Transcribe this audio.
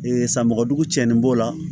san mɔgɔdugu tiɲɛni b'o la